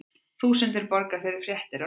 Þúsundir borga fyrir fréttir á netinu